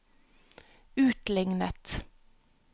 utlignet